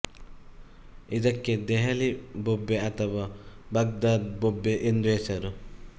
ಇದಕ್ಕೆ ದೆಹಲಿ ಬೊಬ್ಬೆ ಅಥವಾ ಬಾಗ್ದಾದ್ ಬೊಬ್ಬೆ ಎಂದು ಹೆಸರು